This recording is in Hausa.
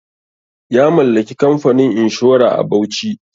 Ya mallaki kamfanin inshora a Bauchi.